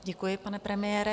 Děkuji, pane premiére.